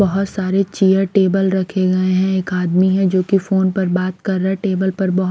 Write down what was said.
बहुत सारे chair table रखे गए हैं एक आदमी है जो कि फोन पर बात कर रहा है टेबल पर ब--